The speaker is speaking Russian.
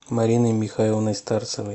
мариной михайловной старцевой